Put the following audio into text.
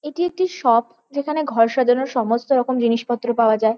এটি একটি শপ । যেখানে ঘর সাজানোর সমস্তরকম জিনিসপত্র পাওয়া যায় ।